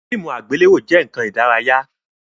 Fíìmù àgbéléwò jẹ nkan ìdárayá